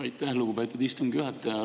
Aitäh, lugupeetud istungi juhataja!